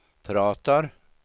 pratar